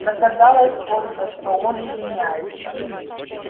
догадалась только что он извиняется